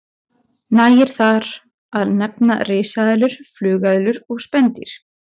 Nægir þar að nefna risaeðlur, flugeðlur og spendýr.